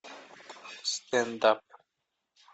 стендап